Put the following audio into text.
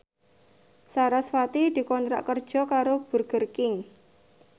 sarasvati dikontrak kerja karo Burger King